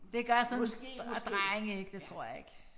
Det gør sådan drenge ikke det tror jeg ikke